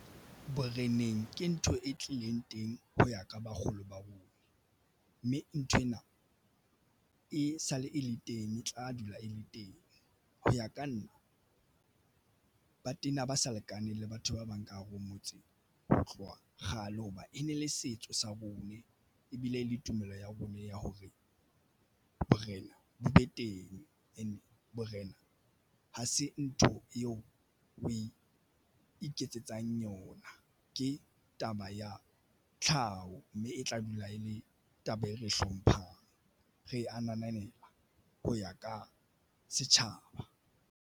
Boreneng ke ntho e tlileng teng ho ya ka bakgolo barui mme nthwena e sale e le teng e tla dula e le teng ho ya ka nna ba tena ba sa lekaneng le batho ba bang ka hare ho motse ho tloha kgale hoba e ne le setso sa bone ebile le tumelo ya bona ya hore borena bo be teng and borena ha se ntho eo o e iketsetsang yona ke taba ya tlhaho mme e tla dula e le taba e re hlomphang re ananela ho ya ka setjhaba.